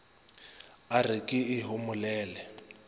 o re ke e homolele